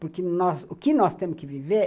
Porque o que nós temos que viver